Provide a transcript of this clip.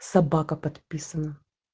собака подписана